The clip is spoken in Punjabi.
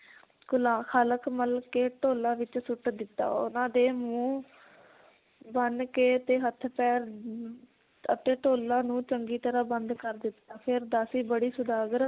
ਕਾਲਖ ਮਲ ਕੇ ਢੋਲਾ ਵਿਚ ਸੁੱਟ ਦਿੱਤਾ ਉਹਨਾਂ ਦੇ ਮੂੰਹ ਬੰਨ ਕੇ ਤੇ ਹੱਥ ਪੈਰ ਅਮ ਅਤੇ ਢੋਲਾ ਨੂੰ ਚੰਗੀ ਤਰਾਂ ਬੰਦ ਕਰ ਦਿੱਤਾ ਫਿਰ ਦਾਸੀ ਬੜੀ ਸੌਦਾਗਰ